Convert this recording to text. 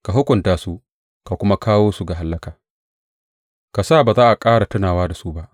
Ka hukunta su ka kuma kawo su ga hallaka; ka sa ba za a ƙara tunawa da su ba.